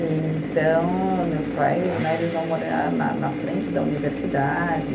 E então, meus pais né, eles vão morar na na frente da universidade.